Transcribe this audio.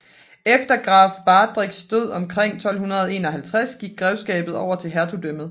Efter Graf Baderichs død omkring 1251 gik greveskabet over til hertugdømmet